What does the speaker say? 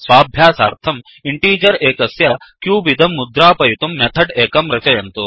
स्वाभ्यासार्थं integer एकस्य cube इदं मुद्रापयितुं मेथड् एकं रचयन्तु